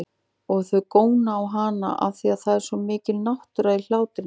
Og þau góna á hana afþvíað það er svo mikil náttúra í hlátrinum.